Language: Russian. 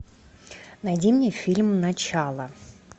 найди мне фильм начало